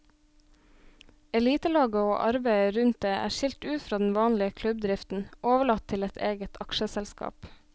Elitelaget og arbeidet rundt det er skilt ut fra den vanlige klubbdriften, overlatt til et eget aksjeselskap.